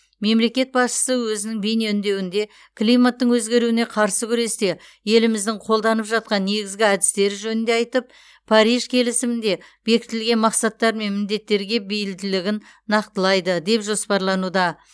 мемлекет басшысы өзінің бейне үндеуінде климаттың өзгеруіне қарсы күресте еліміздің қолданып жатқан негізгі әдістері жөнінде айтып париж келісімінде бекітілген мақсаттар мен міндеттерге бейілдігін нақтылайды деп жоспарлануда